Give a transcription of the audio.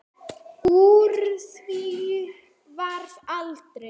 Úr því varð aldrei.